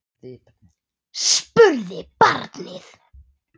spurði barnið.